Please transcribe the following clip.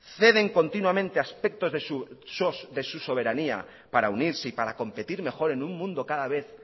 ceden continuamente aspectos de su soberanía para unirse y competir mejor en un mundo cada vez